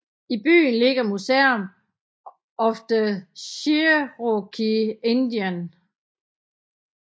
I byen ligger Museum of the Cherokee Indian